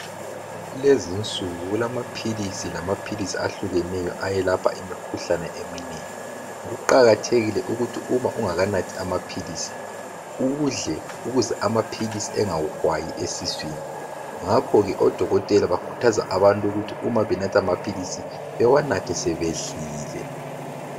kulezinsuku kulama philisi lamaphilisi ahlukeneyo ayelapha imikhuhlane eminengi kuqakathekile ukuthi uma ungakanathi amaphilisi udle ukuze amaphilisi engakuhwayi esiswini ngakho ke odokotela bakhuthaza abantu ukuthi uma benatha amaphilisi bewanathe sebedlile